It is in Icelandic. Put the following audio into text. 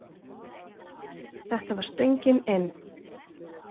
Þetta var stöngin inn!